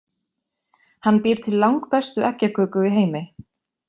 Hann býr til langbestu eggjaköku í heimi.